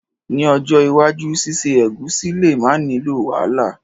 Ni ojó iwájú síse ẹ̀gúsí le ma nilo wàhálà